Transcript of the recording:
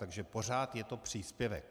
Takže pořád je to příspěvek.